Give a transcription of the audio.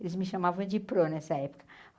Eles me chamavam de prô nessa época.